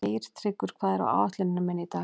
Geirtryggur, hvað er á áætluninni minni í dag?